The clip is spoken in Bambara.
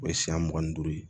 O ye siɲɛ mugan ni duuru ye